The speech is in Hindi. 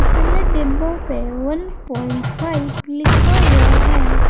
पिचले डिब्बों पे वन प्वाइंट फाइव लिखा हुआ है।